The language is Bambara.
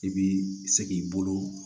I bi se k'i bolo